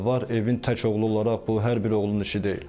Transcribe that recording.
Evin tək oğlu olaraq bu hər bir oğulun işi deyil.